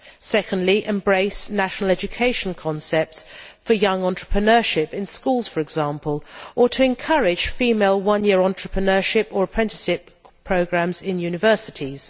secondly, we need to embrace national education concepts for young entrepreneurship in schools, for example, or to encourage female one year entrepreneurship or apprenticeship programmes in universities